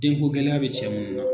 Den ko gɛlɛya bɛ cɛ mun na